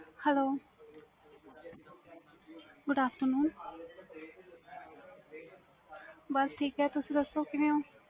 Hello good afternoon ਬਸ ਠੀਕ ਹੈ ਤੁਸੀ ਦੱਸੋ ਕਿਵੇਂ ਹੂ